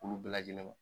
Olu bɛɛ lajɛlen na